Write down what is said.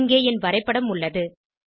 இங்கே என் வரைப்படம் உள்ளது